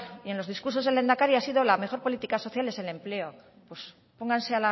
y en los discursos del lehendakari ha sido la mejor política social en empleo pues pónganse